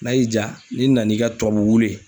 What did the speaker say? N'a y'i ja , n'i nan'i ka tubabu wulu ye.